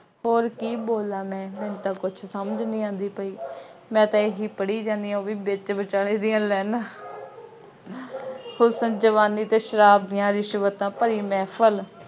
ਹੋਰ ਕੀ ਬੋਲਾਂ ਮੈਂ, ਮੈਨੂੰ ਤਾਂ ਕੁੱਛ ਸਮਝ ਨਹੀਂ ਆਉਂਦੀ ਪਈ। ਮੈਂ ਤਾਂ ਇਹੀ ਪੜ੍ਹੀ ਜਾਂਦੀ ਆ ਬਈ ਵਿੱਚ ਵਿਚਾਲੇ ਦੀਆਂ ਲਾਈਨਾਂ ਹੁਸਨ, ਜਵਾਨੀ ਅਤੇ ਸ਼ਰਾਬ ਦੀਆਂ ਰਿਸ਼ਵਤਾਂ ਭਰੀ ਮਹਿਫਲ